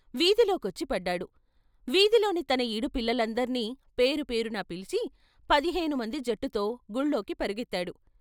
వీధిలోకొచ్చిపడ్డాడు. వీధిలోని తన ఈడు పిల్లలందర్నీ పేరు పేరునా పిలిచి, పదిహేను మంది జట్టుతో గుళ్ళోకి పరుగెత్తాడు.